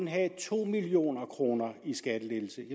have to million kroner i skattelettelse